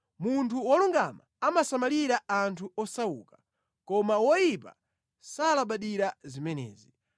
Munthu wolungama amasamalira anthu osauka, koma woyipa salabadira zimenezi.